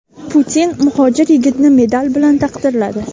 Putin muhojir yigitni medal bilan taqdirladi.